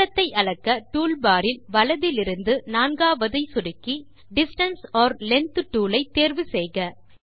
தூரத்தை அளக்க tool bar இல் வலதிலிருந்து நான்காவதை சொடுக்கி டிஸ்டன்ஸ் ஒர் லெங்த் டூல் ஐ தேர்வு செய்க